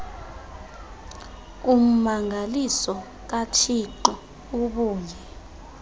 ummangaliso kathixo ubuye